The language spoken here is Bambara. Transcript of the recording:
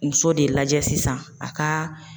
Muso de lajɛ sisan a ka.